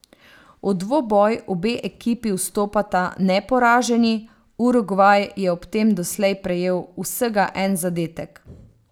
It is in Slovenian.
V dvoboj obe ekipi vstopata neporaženi, Urugvaj je ob tem doslej prejel vsega en zadetek.